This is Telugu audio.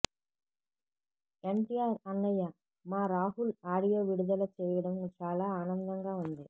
ఎన్టీఆర్ అన్నయ్య మా రాహుల్ ఆడియో విడుదల చేయడం చాలా ఆనందంగా ఉంది